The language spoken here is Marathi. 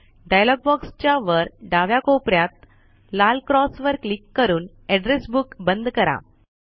डायलॉग बॉक्स च्या वर डाव्या कोपऱ्यात लाल क्रॉस वर क्लिक करून एड्रेस बुक बंद करा